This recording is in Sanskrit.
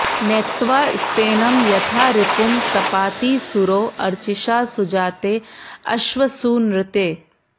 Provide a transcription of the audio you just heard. नेत्त्वा॑ स्ते॒नं यथा॑ रि॒पुं तपा॑ति॒ सूरो॑ अ॒र्चिषा॒ सुजा॑ते॒ अश्व॑सूनृते